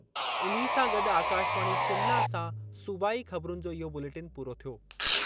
इन्ही सां गॾु आकाशवाणी शिमला सां सूबाई ख़बरुनि जो इहो बुलेटिन पूरो थियो।